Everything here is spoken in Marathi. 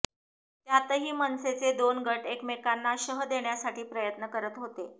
त्यातही मनसेचे दोन गट एकमेकांना शह देण्यासाठी प्रयत्न करत होते